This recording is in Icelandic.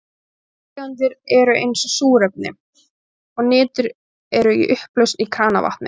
Lofttegundir eins og súrefni og nitur eru í upplausn í kranavatni.